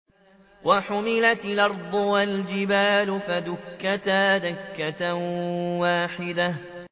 وَحُمِلَتِ الْأَرْضُ وَالْجِبَالُ فَدُكَّتَا دَكَّةً وَاحِدَةً